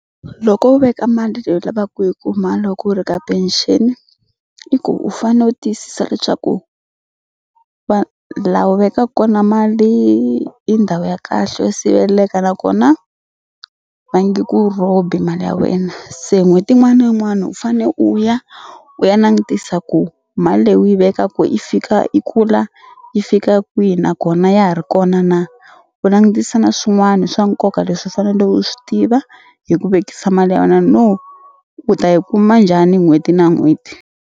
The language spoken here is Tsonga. Loko u veka mali leyi u lavaka ku yi kuma loko u ri ka pension i ku u fane u tiyisisa leswaku la u vekaku kona mali i ndhawu ya kahle yo siveleka nakona va nge ku rhobi mali ya wena se n'hweti yin'wana na yin'wana u fane u ya u ya langutisa ku mali leyi u yi vekaku yi fika yi kula yi fika kwihi nakona ya ha ri kona na u langutisa na swin'wana swa nkoka leswi u fanele u swi tiva hi ku vekisa mali ya wena no u ta yi kuma njhani n'hweti na n'hweti.